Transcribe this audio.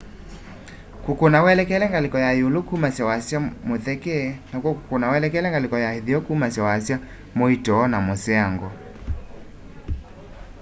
kũkũna welekele ngaliko na yĩũlũ kũmasya wasya mũtheke nakw'o kũkũna welekele ngaliko ya ĩtheo kũmasya wasya mũĩto na mũseango